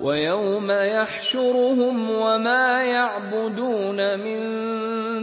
وَيَوْمَ يَحْشُرُهُمْ وَمَا يَعْبُدُونَ مِن